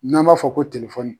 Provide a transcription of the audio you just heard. N'an b'a fɔ ko telefɔni